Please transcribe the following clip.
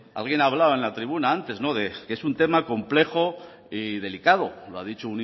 alguien hablaba en la tribuna antes de que es un tema complejo y delicado lo ha dicho